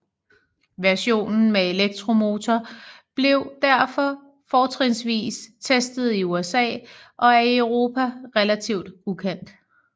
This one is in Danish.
Versionen med elektromotor blev derfor fortrinsvis testet i USA og er i Europa relativt ukendt